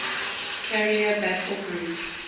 carrier battle group